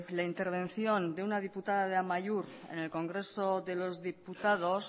la intervención de una diputada de amaiur en el congreso de los diputados